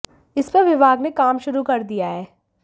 इस पर विभाग ने काम शुरू कर दिया है